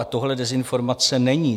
A tohle dezinformace není.